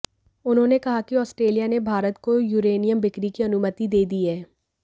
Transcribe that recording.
उन्होंने कहा कि आस्ट्रेलिया ने भारत को यूरेनियम बिक्री की अनुमति दे दी है